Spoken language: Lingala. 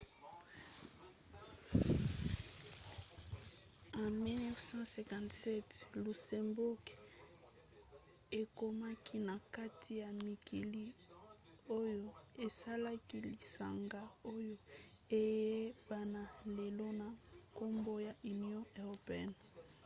na 1957 luxembourg ekomaki na kati ya mikili oyo esalaki lisanga oyo eyebana lelo na nkombo ya union européenne